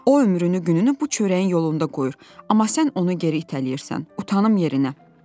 O ömrünü gününü bu çörəyin yolunda qoyur, amma sən onu geri itələyirsən, utanım yerinə.